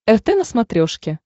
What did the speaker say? рт на смотрешке